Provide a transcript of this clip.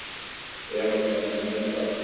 Efast menn ekkert um það?